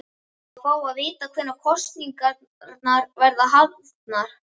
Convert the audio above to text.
Að fá að vita hvenær kosningarnar verða haldnar?